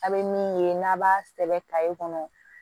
A' bɛ min ye n'a b'a sɛbɛ kɔnɔ